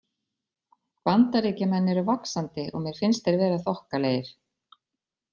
Bandaríkjamenn eru vaxandi og mér finnst þeir vera þokkalegir.